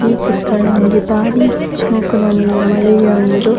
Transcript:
ಈ ಚಿತ್ರಡ್ ಒಂಜಿ ಬಾರಿ ಶೋಕುದ ಒಂಜಿ ಮಳಿಗೆ ಉಂಡು.